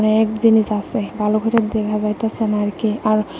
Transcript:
এক জিনিস আসে ভালো কই রে দেখা যাইতেসে না কে আর--